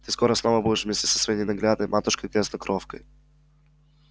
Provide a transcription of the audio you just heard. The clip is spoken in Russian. ты скоро снова будешь вместе со своей ненаглядной матушкой грязнокровкой